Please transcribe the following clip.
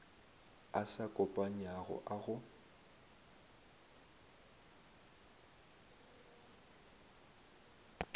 a sa kopanywago a go